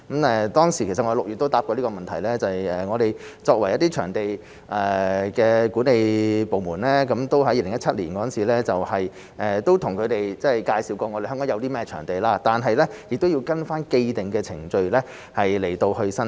其實我在6月也回答過這個問題，我們的場地管理部門在2017年向他們介紹過香港有甚麼場地，但亦要根據既定的程序申請。